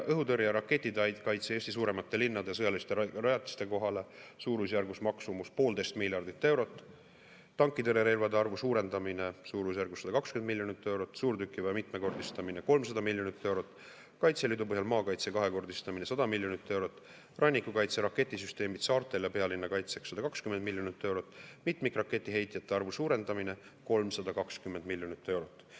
Õhutõrjeraketid Eesti suuremate linnade sõjaliste rajatiste kaitseks – suurusjärgus maksumus 1,5 miljardit eurot; tankitõrjerelvade arvu suurendamine suurusjärgus 120 miljonit eurot; suurtükiväe mitmekordistamine – 300 miljonit eurot; Kaitseliidu põhjal maakaitse kahekordistamine – 100 miljonit eurot; rannikukaitse raketisüsteemid saartel ja pealinna kaitseks – 120 miljonit eurot; mitmikraketiheitjate arvu suurendamine – 320 miljonit eurot.